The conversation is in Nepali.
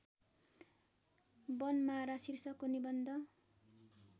वनमारा शीर्षकको निबन्ध